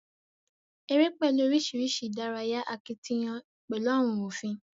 Eré pẹlú oríṣiríṣi ìdárayá akitiyán pẹlú àwọn òfin.